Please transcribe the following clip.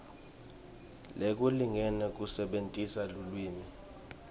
lokulingene nekusebentisa lulwimi